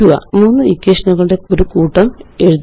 മൂന്ന് ഇക്വേഷനുകളുടെ ഒരു കൂട്ടം എഴുതുക